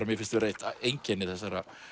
mér finnst vera eitt einkenni þessarar